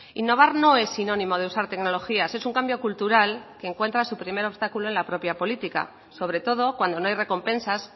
innovar no es sinónimo de usar tecnologías es un cambio cultural que encuentra su primer obstáculo en la propia política sobre todo cuando no hay recompensas